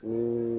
Ni